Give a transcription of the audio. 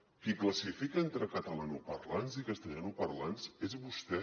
qui classifica entre catalanoparlants i castellanoparlants és vostè